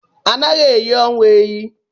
Anaghị eyi ọnwụ eyi.